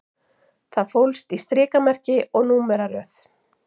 Það fólst í strikamerki og númeraröð